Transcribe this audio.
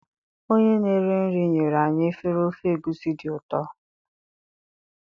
onye na-eri nri nyere anyị efere ofe egusi dị ụtọ